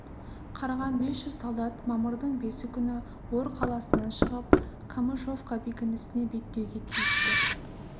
қарған бес жүз солдат мамырдың бесі күні ор қаласынан шығып камышовка бекінісіне беттеуге тиісті